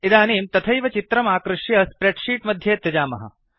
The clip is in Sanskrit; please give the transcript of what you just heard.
इदानीं तथैव चित्रम् आकृष्य स्प्रेड् शीट् मध्ये त्यजामः